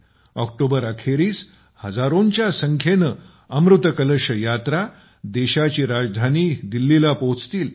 October अखेरीस हजारोंच्या संख्येने अमृत कलश यात्रा देशाची राजधानी दिल्लीला पोहोचतील